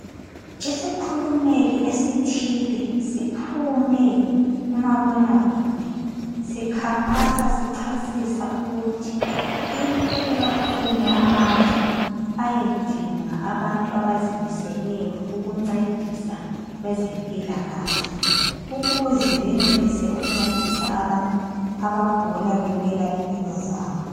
Isikhulumeli esithile siphume kumabonakude sikhankasa sichasisa ukuthi kumele baphume amazwe ayedinga abantu abazimiseleyo ukuncedisa kwezempilakahle ukuze benelise ukuncedisa abantu abagula belwela impilo zabo